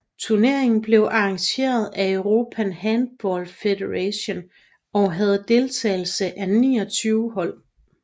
Turneringen blev arrangeret af European Handball Federation og havde deltagelse af 29 hold